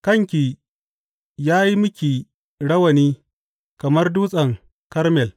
Kanki ya yi miki rawani kamar Dutsen Karmel.